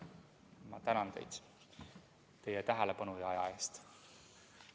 Ma tänan teid tähelepanu ja aja eest!